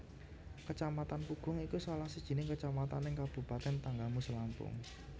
Kecamatan Pugung iku salah sijining kecamatan neng kabupaten Tanggamus Lampung